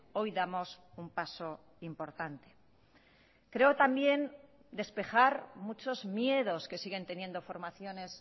hoy damos un paso importante creo también despejar muchos miedos que siguen teniendo formaciones